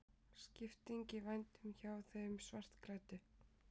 Skipting í vændum hjá þeim svartklæddu.